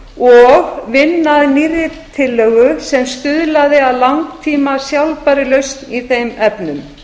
og vinna að nýrri tillögu sem stuðlaði að langtíma sjálfbærri lausn í þeim efnum